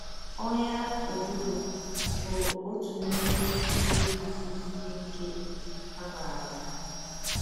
Ọnyà ududo bụ òtù n’ime ihe ndị kasị sie ike a maara.